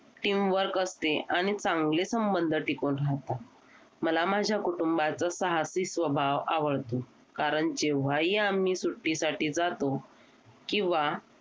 Teamwork असते आणि चांगले संबंध टिकून राहतात मला माझ्या कुटुंबाच साहसी स्वभाव आवडतो कारण जेव्हाही आम्ही सुट्टीसाठी जातो किंवा